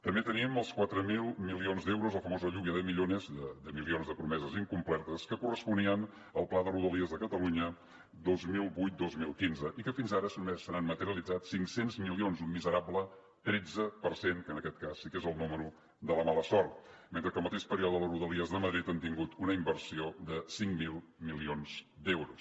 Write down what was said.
també tenim els quatre mil milions d’euros la famosa lluvia de millones de milions de promeses incomplertes que corresponien al pla de rodalies de catalunya dos mil vuit dos mil quinze i que fins ara només se n’han materialitzat cinc cents milions un miserable tretze per cent que en aquest cas sí que és el número de la mala sort mentre que al mateix període les rodalies de madrid han tingut una inversió de cinc mil milions d’euros